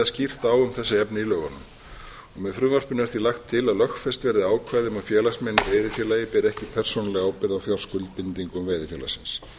skýrt á um þessi efni í lögunum með frumvarpinu er því lagt til að lögfest verði ákvæði um að félagsmenn í veiðifélagi beri ekki persónulega ábyrgð á fjárskuldbindingum veiðifélagsins